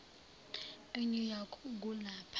enew york kulapha